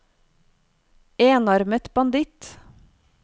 enarmet banditt